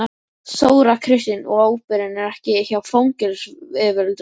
Þóra Kristín: Og ábyrgðin er ekki hjá fangelsisyfirvöldum?